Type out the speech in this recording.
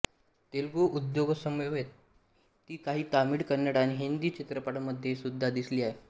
तेलुगू उद्योगसमवेत ती काही तामिळ कन्नड आणि हिंदी चित्रपटांमध्ये सुद्धा दिसली आहे